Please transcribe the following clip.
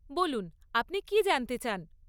বলুন, আপনি কী জানতে চান?